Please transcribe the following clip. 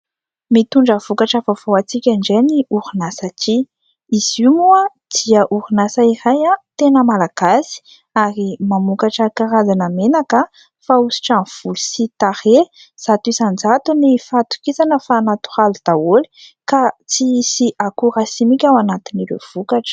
Mitondra vokatra vaovao ho antsika indray ny orinasa《Tia》. izy io moa dia orinasa iray, tena Malagasy ary mamokatra karazana menaka fanosotra amin'ny volo sy tarehy ; zato isan-jato ny fahatokisana fa natoraly daholo ka tsy hisy akora simika ao anatin'ireo vokatra.